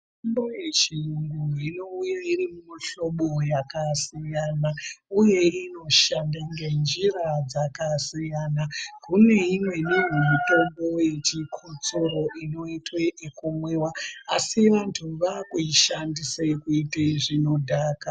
Mitombo yechirungu inouya iri mumihlobo yakasiyana uye inoshanda ngenjira dzakasiyana kune imweni mitombo yechikotsoro inoitwa yekumwiwa asi vantu vakuishandisa kuita zvinodhaka.